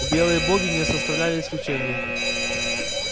белые боги не составляли исключения